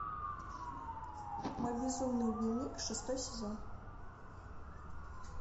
мой безумный дневник шестой сезон